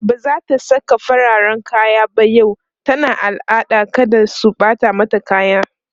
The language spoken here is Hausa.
bazata Saka fararen kaya ba yau tana al'ada kada su Bata mata kaya